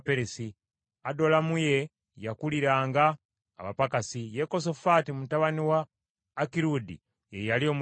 Adolaamu ye yakuliranga abapakasi, Yekosafaati mutabani wa Akirudi ye yali omujjukiza.